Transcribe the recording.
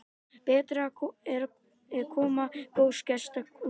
Betri er koma góðs gests en kveðja.